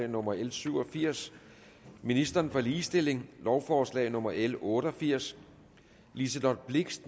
nummer l syv og firs ministeren for ligestilling lovforslag nummer l otte og firs liselott blixt